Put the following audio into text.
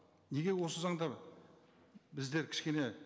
неге осы заңдар біздер кішкене